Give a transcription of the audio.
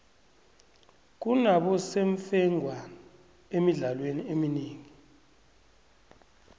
kunabosemfengwana emidlalweni eminengi